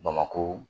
Bamakɔ